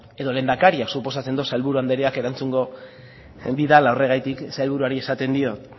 edo lehendakariak suposatzen dut sailburu andreak erantzungo didala horregatik sailburuari esaten diot